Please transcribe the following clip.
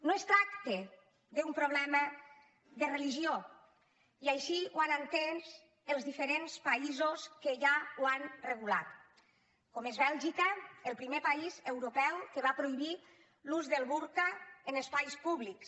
no es tracta d’un problema de religió i així ho han entès els diferents països que ja ho han regulat com és bèlgica el primer país europeu que va prohibir l’ús del burca en espais públics